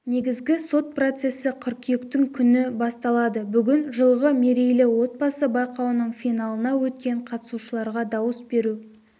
негізгі сот процесі қыркүйектің күні басталады бүгін жылғы мерейлі отбасы байқауының финалына өткен қатысушыларға дауыс беру